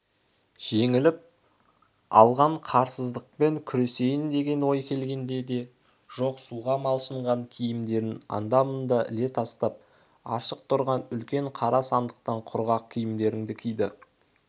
жеңіп алған қырсыздықпен күресейін деген ой келген де жоқ суға малшынған киімдерін анда-мында іле тастап ашық тұрған үлкен қара сандықтан құрғақ киімдерін киді